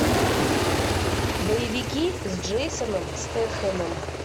боевики с джейсоном стэтхэмом